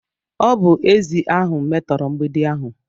Ọ bụ ezi ahụ metora mgbidi ahu.